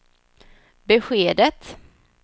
beskedet